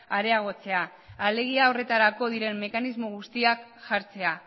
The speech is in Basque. areagotzea alegia horretarako diren mekanismo guztiak jartzea